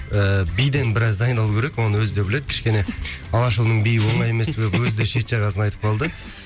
ыыы биден біраз дайындалу керек оны өзі де біледі кішкене алашұлының биі оңай емес деп өзі де шет жағасын айтып қалды